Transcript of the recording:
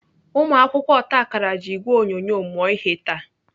Ụmụakwụkwọ otakara ji ìgwè onyonyo mụọ ihe taa.